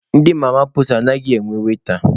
Ndị mama puutu anaghịkwa enwe waita,